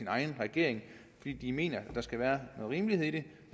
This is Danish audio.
egen regering fordi de mener at der skal være noget rimelighed i det